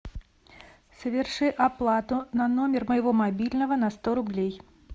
соверши оплату на номер моего мобильного на сто рублей